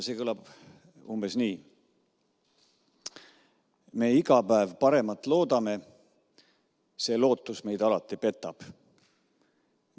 See kõlab umbes nii: "Me iga päev paremat loodame, see lootus meid alati petab.